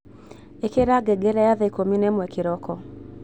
ikira ngengere ya thaa ikumi na imwe kiroko